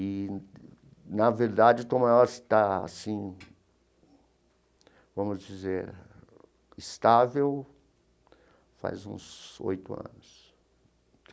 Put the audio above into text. E, na verdade, Tom Maior está, assim, vamos dizer, estável faz uns oito anos.